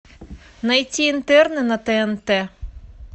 найти интерны на тнт